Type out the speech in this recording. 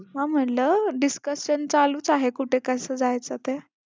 हा म्हंटलं discussion चालूच आहे कुठे कसं जायचं ते.